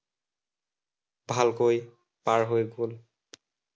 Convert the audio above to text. ভালকৈ পাৰ হৈ গল।